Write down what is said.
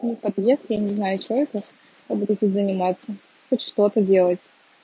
не подъезд я не знаю что это я будут заниматься хоть что-то делать